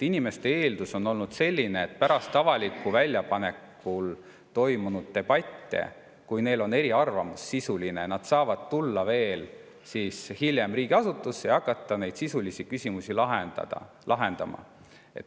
Inimesed on eeldanud, et pärast avalikku väljapanekut toimunud debatte, kui neil on sisuline eriarvamus, nad saavad tulla riigiasutusse ja hakata neid sisulisi küsimusi lahendama.